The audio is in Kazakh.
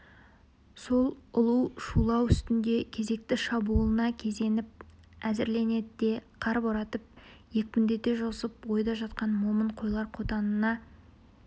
сол ұлу шулау үстінде кезекті шабуылына кезеніп әзірленеді де қар боратып екпіндете жосып ойда жатқан момын қойлар қотанына